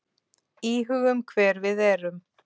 Íhugum hver við erum.